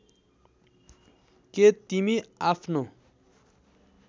के तिमी आफ्नो